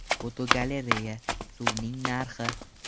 Fotogalereya: Suvning narxi.